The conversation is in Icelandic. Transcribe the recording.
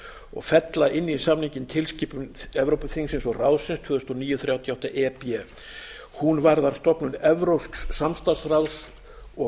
og fella inn í samninginn tilskipun evrópuþingsins og ráðsins tvö þúsund og níu til þrjátíu og átta e b hún varðar stofnun evrópsks samstarfsráðs og